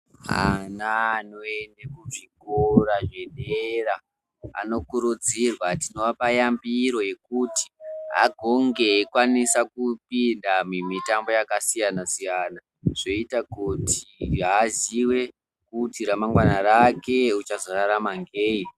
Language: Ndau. Ana anoyende kuchikora zvedera anokuridzirwa, tinoapa yambiro yekuti agonge eikwanisa kupinda mumitambo yakasiyana-siyana ,zvoita kuti aziwe kuti ramangwana rake uchazorarama ngeyi.